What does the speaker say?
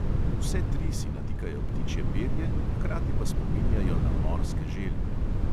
Vse tri si natikajo ptičje perje, hkrati pa spominjajo na morske želve.